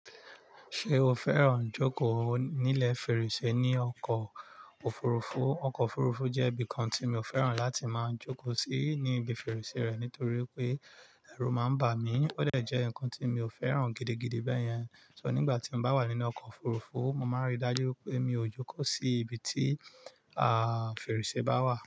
Ṣé o fẹ́ràn jókòó nílẹ̀ fèrèsé ní ọkọ̀ òfurufú? Ọkọ̀ òfurufú jẹ́ ibìkan tí mi o fẹ́ràn láti máa jókòó sí ní ibi fèrèsé rẹ̀ nítorí wipé ẹrú máa ń bà mí, ó dẹ̀ jẹ́ nǹkan tí mi ò fẹ́ràn gidigidi bẹ́yẹn. So nígbà tí n bá wà nínú ọkọ̀ òfurufú, mo máa rí dájú wipé mi ò jókòó sí ibi tí, fèrèsé bá wà.